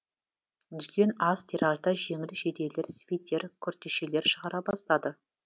дүкен аз тиражда жеңіл жейделер свитер күртешелер шығара бастады